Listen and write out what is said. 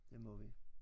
Det må vi